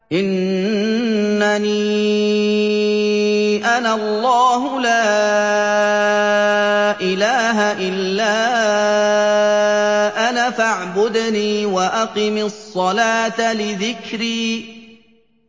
إِنَّنِي أَنَا اللَّهُ لَا إِلَٰهَ إِلَّا أَنَا فَاعْبُدْنِي وَأَقِمِ الصَّلَاةَ لِذِكْرِي